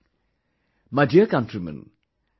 My dear countrymen,